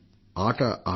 ఆట ఆటే